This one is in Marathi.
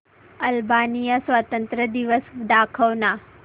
अल्बानिया स्वातंत्र्य दिवस दाखव ना